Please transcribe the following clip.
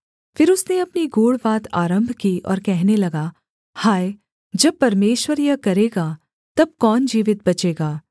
फिर उसने अपनी गूढ़ बात आरम्भ की और कहने लगा हाय जब परमेश्वर यह करेगा तब कौन जीवित बचेगा